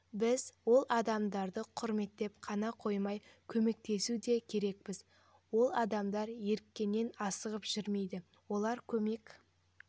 біз ол адамдарды құрметтеп қана қоймай көмектесу де керекпіз ол адамдар ерікеннен асығып жүрмейді олар көмек